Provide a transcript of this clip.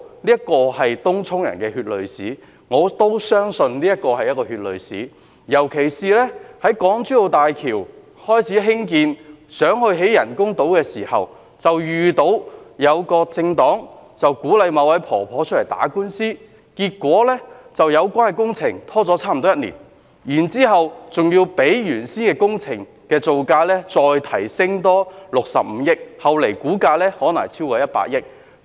這是東涌居民的血淚史，我亦相信這是一段血淚史，尤其是就港珠澳大橋開始興建人工島時，便遇到一個政黨鼓勵某位婆婆出來打官司，結果令有關工程拖了差不多一年；然後，還要比原先的工程造價增加65億元，後來的估價可能超過100億元。